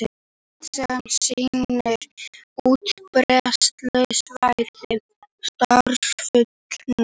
Kort sem sýnir útbreiðslusvæði andarnefjunnar